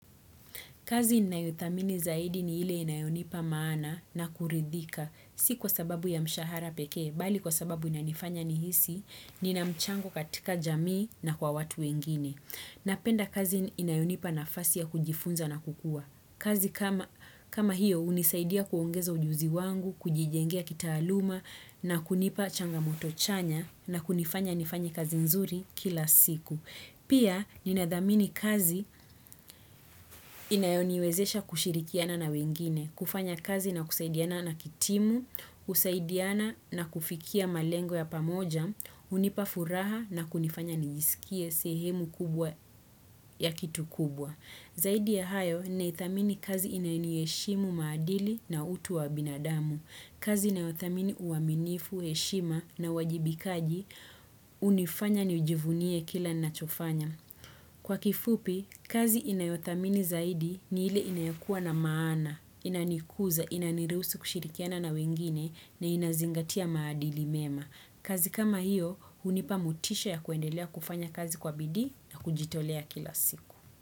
Kazi nayo thamini zaidi ni ile inayonipa maana na kuridhika si kwa sababu ya mshahara peke, mbali kwa sababu inanifanya nihisi, nina mchango katika jamii na kwa watu wengine. Napenda kazi inayonipa nafasi ya kujifunza na kukua. Kazi kama hiyo unisaidia kuongeza ujuzi wangu, kujijengia kitaaluma na kunipa changamoto chanya na kunifanya nifanye kazi nzuri kila siku. Pia ninadhamini kazi inayoniwezesha kushirikiana na wengine, kufanya kazi na kusaidiana na kitimu, kusaidiana na kufikia malengo ya pamoja, unipa furaha na kunifanya nijisikie sehemu kubwa ya kitu kubwa. Zaidi ya hayo, ninaithamini kazi inayoniheshimu maadili na utu wa binadamu kazi inayothamini uaminifu, heshima na wajibikaji, unifanya ni jivunie kile nachofanya. Kwa kifupi, kazi inayothamini zaidi ni hile inayokuwa na maana, inanikuza, inaniruhusu kushirikiana na wengine na inazingatia maadili mema. Kazi kama hiyo, unipa motisha ya kuendelea kufanya kazi kwa bidii na kujitolea kila siku.